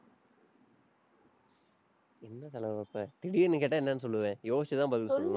என்ன செலவு வைப்ப? திடீர்னு கேட்டா என்னன்னு சொல்லுவேன். யோசிச்சுதான் பதில் சொல்லுவேன்